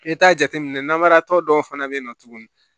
I t'a jateminɛ namaratɔ dɔw fana bɛ yen nɔ tuguni